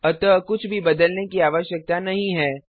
अतः कुछ भी बदलने की आवश्यकता नहीं है